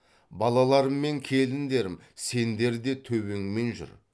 балаларым мен келіндерім сендер де төбеңмен жүр